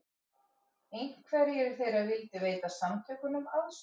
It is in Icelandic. Einhverjir þeirra vildu veita samtökunum aðstoð